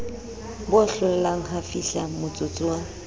bo hlollang ha fihlamotsotso wa